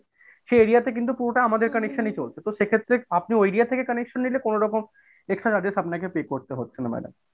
সেই area তে কিন্তু পুরোটা আমাদের connection এই চলছে তো সেক্ষেত্রে আপনি ওই area থেকে connection নিলে কোনো রকম extra charges আপনার pay করতে হচ্ছে না madam।